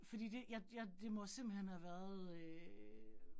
Fordi det jeg jeg det må simpelthen have været øh